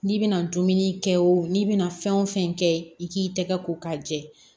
N'i bɛna dumuni kɛ o n'i bɛna fɛn o fɛn kɛ i k'i tɛgɛ ko k'a jɛ